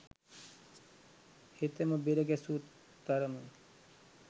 හෙතෙම බෙරගැසූ තරම